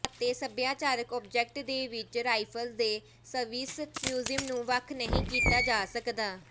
ਅਤੇ ਸਭਿਆਚਾਰਕ ਆਬਜੈਕਟ ਦੇ ਵਿੱਚ ਰਾਈਫਲਜ਼ ਦੇ ਸਵਿਸ ਮਿਊਜ਼ੀਅਮ ਨੂੰ ਵੱਖ ਨਹੀਂ ਕੀਤਾ ਜਾ ਸਕਦਾ